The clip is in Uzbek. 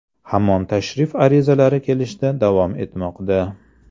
Hamon tashrif arizalari kelishda davom etmoqda.